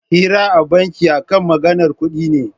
Hira a banki akan maganar kuɗi ce